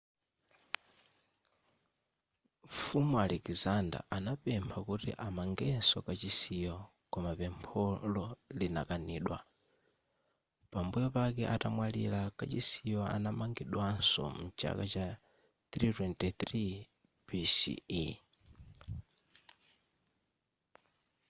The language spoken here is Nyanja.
mfumu alexander anapempha kuti amangenso kachisiyo koma pempholo linakanidwa pambuyo pake atamwalira kachisiyo anamangidwanso mchaka cha 323 bce